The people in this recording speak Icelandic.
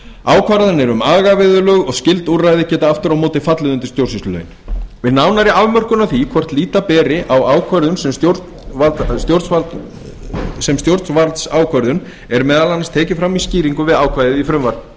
ákvarðanir um agaviðurlög og skylduúrræði geta aftur á móti fallið undir stjórnsýslulögin við nánari afmörkun á því hvort líta beri á ákvörðun sem stjórnvaldsákvörðun er meðal annars tekið fram í skýringum við ákvæðið í